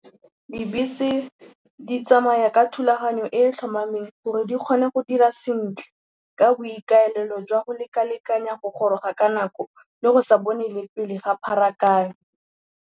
Dibese di tsamaya ka thulaganyo e e tlhomameng gore di kgone go dira sentle ka boikaelelo jwa go lekalekanya go goroga ka nako le go sa bone le pele ga pharakano.